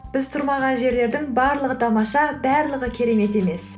біз тұрмаған жерлердің барлығы тамаша барлығы керемет емес